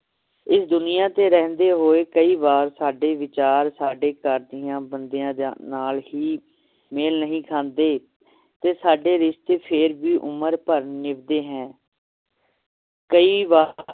ਇਸ ਦੁਨੀਆਂ ਤੇ ਰਹਿੰਦੇ ਹੋਏ ਕਈ ਵਾਰ ਸਾਡੇ ਵਿਚਾਰ ਸਾਡੇ ਘਰਦਿਆਂ ਬੰਦਿਆਂ ਜਾਂ~ ਨਾਲ ਹੀ ਮੇਲ ਨਹੀ ਖਾਂਦੇ ਤੇ ਸਾਡੇ ਰਿਸ਼ਤੇ ਫੇਰ ਵੀ ਉਮਰ ਭਰ ਨਿਭਦੇ ਹੈ ਕਈ ਵਾਰ